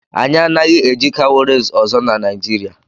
Anyị anaghị eji cowries ọzọ na Nigeria.